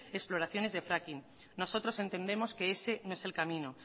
exploraciones de fracking nosotros entendemos que ese no es el camino